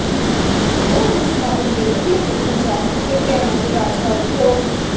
ਦੋ ਦਿਨ ਸਮਾਗਮ ਦੇ ਪਹਿਲੇ ਦਿਨ ਪੰਜਾਬ ਅਤੇ ਹਰਿਆਣਾ ਦੇ ਰਾਜਪਾਲ ਪ੍ਰੋ